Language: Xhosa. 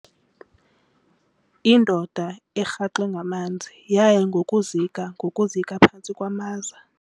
Indoda erhaxwe ngamanzi yaya ngokuzika ngokuzika phantsi kwamaza.